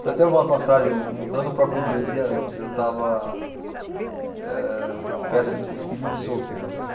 Foi até uma passagem, um não no próprio dia, um dia antes, eu estava co eh festa de despedida de solteiro, né?